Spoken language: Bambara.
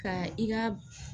Ka i ka